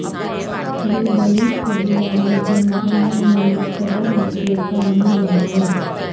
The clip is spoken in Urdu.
یہ بلوچ قبیلہ ہے جو مکران میں مقتدر حیثیت کا حامل رہا ہے